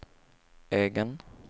egen